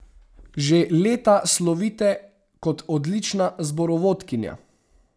Že leta slovite kot odlična zborovodkinja.